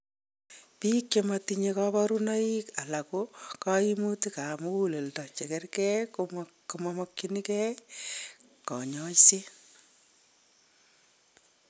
Biik chematinye kaborunoik alako kaimutik ab muguleldo chekerke komamokyinke kanyoiset